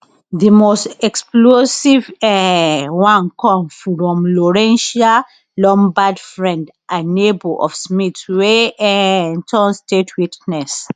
di most explosive um one come from lourentia lombaard friend and neighbour of smith wey um turn state witness